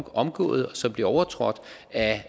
omgået og som bliver overtrådt af